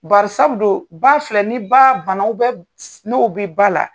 Barisabu do ba filɛ ni baa banaw bɛ f n'o be ba la